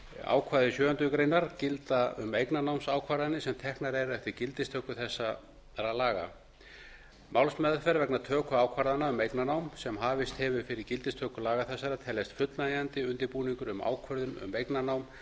ákvæði sjöundu greinar gilda um eignarnámsákvarðanir sem teknar eru eftir gildistöku þessara laga málsmeðferð vegna töku ákvarðana um eignarnám sem hafist hefur fyrir gildistöku laga þessara teljast fullnægjandi undirbúningur um ákvörðun um eignarnám